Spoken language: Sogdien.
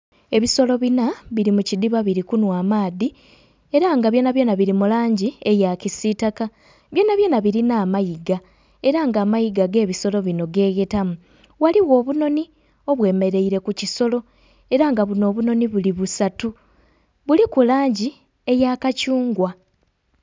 Ebisolo binha biri mu kidhiba biri kunhwa amaadhi era nga byonabyona biri mu langi eya kisitaka, byonabyona birina amayiga era nga amayiga g'ebisolo binho geghetamu. Ghaligho obunonhi obwemereire ku kisolo era nga bunho obunhonhi buli busatu buliku langi eya kathungwa.